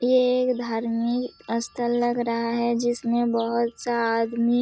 ये एक धार्मिक स्थल लग रहा है जिसमें बहुत सा आदमी--